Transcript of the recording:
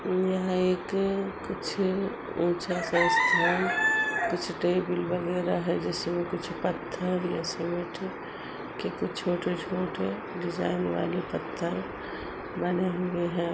यहाँ एक कुछ ऊंचा सा स्थान कुछ टेबल वगैरह हैं। पत्थर या सीमेंट के कुछ छोटे-छोटे डिजाइन वाले पत्थर बने हुए हैं।